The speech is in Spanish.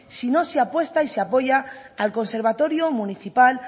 si no se apuesta y se apoya al conservatorio municipal